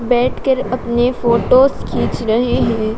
बैठकर अपने फोटोस खींच रहे हैं।